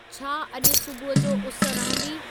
छा अॼु सुबूह जो उस रहंदी